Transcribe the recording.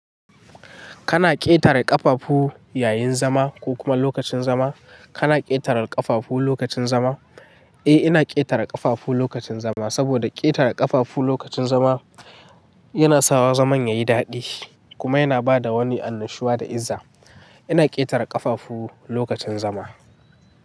Kana ƙetare ƙafafu yayin zama ko kuma lokacin zama? Kana ƙetare ƙafafu lokacin zama? Eh, ina ƙetare ƙafafu lokacin zama saboda ƙetare ƙafafu lokacin zama yana sawa zaman yayi daɗi kuma yana bada wani annashuwa da izza. Ina ƙetare ƙafafu, lokacin zama.